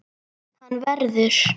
Hann verður.